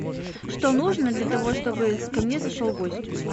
что нужно для того чтобы ко мне зашел гость